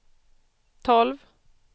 tolv